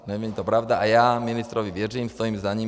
Není to pravda a já ministrovi věřím, stojím za ním.